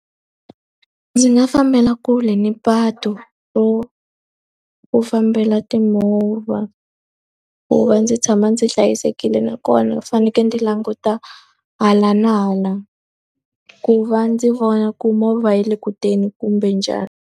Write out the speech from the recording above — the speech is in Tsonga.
Ndzi nga fambela kule ni patu ro ku fambela timovha, ku va ndzi tshama ndzi hlayisekile. Nakona fanekele ndzi languta hala na hala ku va ndzi vona ku movha yi le ku teni kumbe njhani.